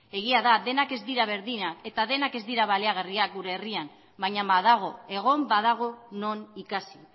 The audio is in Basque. egia da denak ez dira berdinak eta denak ez dira baliagarriak gure herrian baina badago egon badago non ikasi